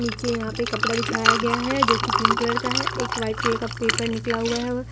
नीचे यहां पे के कपड़ा बिछाया गया है जो की पिंक कलर का है एक व्हाइट कलर का पेपर निकला हुआ है।